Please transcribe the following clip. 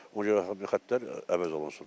Ona görə bu xəttlər əvəz olunsun.